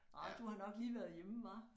Ah du har nok lige været hjemme hva